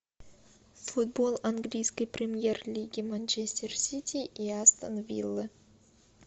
футбол английской премьер лиги манчестер сити и астон виллы